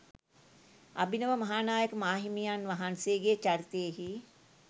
අභිනව මහානායක මාහිමියන් වහන්සේගේ චරිතයෙහි